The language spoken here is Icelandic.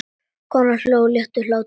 Konan hló léttum hlátri.